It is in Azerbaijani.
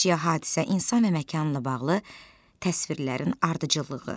Əşya, hadisə, insan və məkanla bağlı təsvirlərin ardıcıllığı.